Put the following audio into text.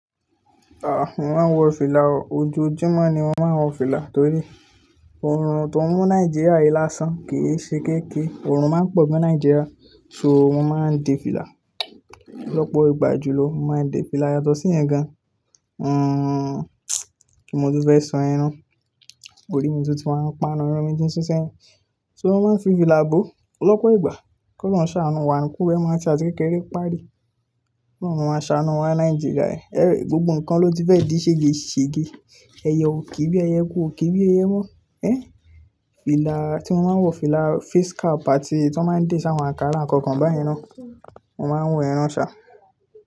Ah! Mo máa ń wọ fìlà o, ojoojúmọ́ ni mo máa ń wọ fìlà torí oòrùn tó ń mú Nàìjíríà yìí lásán kìí ṣe kéékèè, òòrùn máa ń pọ̀ ní Nàìjíríà, so mọ máa ń dé fìlà. Ọ̀pọ̀ ìgbà jùlọ mo máa ń dé fìlà yàtọ̀ sí ìyẹn gan. Hmm, kí mo tún fẹ́ sọ yẹn, Orí mi tó ti máa ń pa lọ, irun mi ti ń ṣú sẹ́yìn. So mo máa ń fi fìlà bo, lọ̀pọ̀ ìgbà kí ólorun lè ṣàánú wa, kí iru rẹ mà fi àti kékeré pàdé. Kí ólorun máa ṣàánú wa Nàìjíríà yìí, ẹ́ rẹ̀ gbogbo nǹkan ló ti fẹ́ dí ṣègeṣège, ẹyẹ ò ke bí ẹyẹ, ẹkú, ò ke bí ẹku mọ́, ẹ́. Fìlà tí mo máa ń wọ fìlà face cap àti ètò tí wọ́n máa ń dì sí àwọn àkàrà àkankàn beyin nan. Mo máa ń wọ ìyẹn sá.